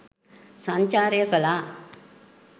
සංචාරය කළා.